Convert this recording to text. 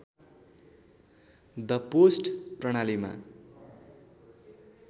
the post प्रणालीमा